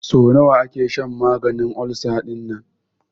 So nawa ake shan maganin ulcer dinnan?